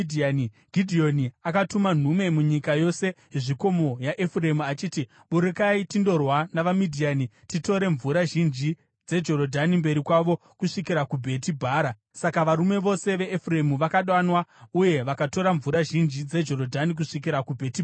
Gidheoni akatuma nhume munyika yose yezvikomo yaEfuremu achiti, “Burukai tindorwa navaMidhiani titore mvura zhinji dzeJorodhani mberi kwavo kusvikira kuBheti Bhara.” Saka varume vose veEfuremu vakadanwa uye vakatora mvura zhinji dzeJorodhani kusvikira kuBheti Bhara.